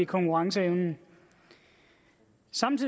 konkurrenceevnen